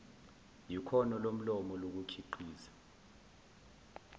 yikhono lomlomo lokukhiqiza